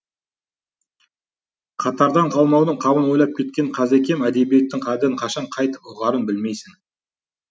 қатардан қалмаудың қамын ойлап кеткен қазекем әдебиеттің қадірін қашан қайтіп ұғарын білмейсің